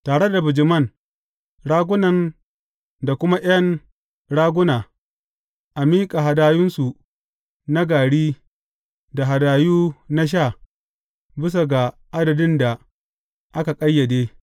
Tare da bijiman, ragunan da kuma ’yan raguna, a miƙa hadayunsu na gari da hadayu na sha bisa ga adadin da aka ƙayyade.